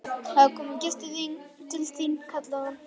Það er kominn gestur til þín, kallaði hún.